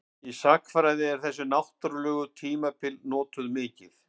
Í sagnfræði eru þessi náttúrlegu tímabil notuð mikið.